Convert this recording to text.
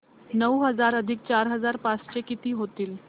नऊ हजार अधिक चार हजार पाचशे किती होतील